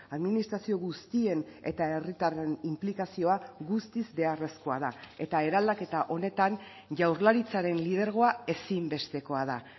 administrazio guztien eta herritarren inplikazioa guztiz beharrezkoa da eta eraldaketa honetan jaurlaritzaren lidergoa ezinbestekoa da